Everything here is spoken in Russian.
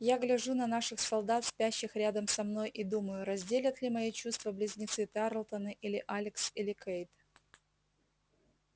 я гляжу на наших солдат спящих рядом со мной и думаю разделят ли мои чувства близнецы тарлтоны или алекс или кэйд